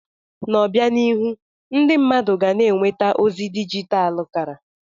N'obianihu, ndị mmadụ ga na-enweta ozi dijital kara.